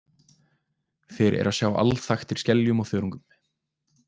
Þeir eru að sjá alþaktir skeljum og þörungum.